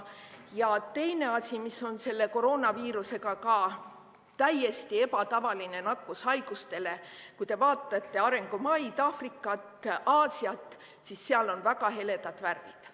Ja teine asi, mis on selle koroonaviiruse puhul ka täiesti ebatavaline nakkushaigustele: kui te vaatate arengumaid – Aafrikat, Aasiat –, siis seal on väga heledad värvid.